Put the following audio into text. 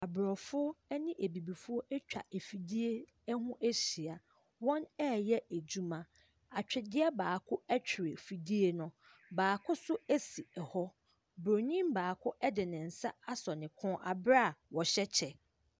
Aborɔfo ne Abibifoɔ atwa afidie ho ahyia. Wɔreyɛ adwuma. Atweredeɛ baako twere fidie no, baako nso si hɔ. Bronin baako de ne sa asɔ ne kɔn wɔ berɛ a ɔhyw kyɛ.